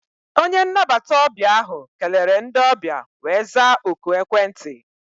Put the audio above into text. Onye nnabata ọbịa ahụ kelere ndị ọbịa wee zaa oku ekwentị.